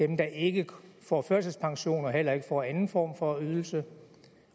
dem der ikke får førtidspension og heller ikke får anden form for ydelse